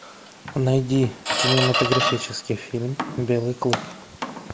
найди кинематографический фильм белый клык